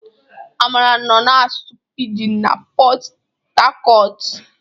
Amara nọ na-asụ pijin n'Pot Tarcot.